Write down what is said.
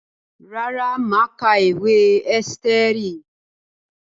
Rárá, mà á ka ìwé Ẹ́sítérì.